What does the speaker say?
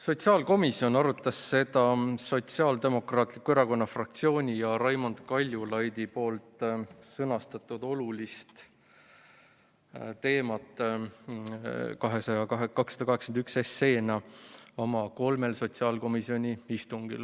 Sotsiaalkomisjon arutas Sotsiaaldemokraatliku Erakonna fraktsiooni ja Raimond Kaljulaidi tõstatatud olulist teemat, eelnõu nr 281, oma kolmel istungil.